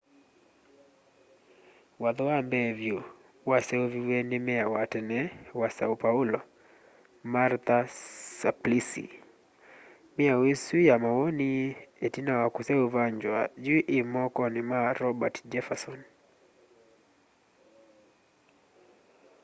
watho wa mbee vyu waseuviw'e ni meya wa tene wa são paulo martha suplicy. miao isu ya mawoni itina wa kiseuvangywa yu ii mokoni ma roberto jefferson